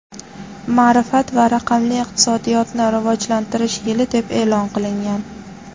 ma’rifat va raqamli iqtisodiyotni rivojlantirish yili deb e’lon qilingan.